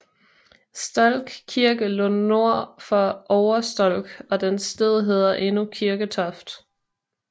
Stolk Kirke lå nord for Ovre Stolk og dens sted hedder endnu Kirketoft